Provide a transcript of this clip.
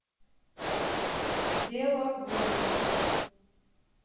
белогорье